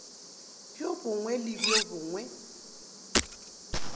bjo bongwe le bjo bongwe